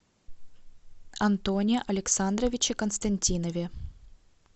антоне александровиче константинове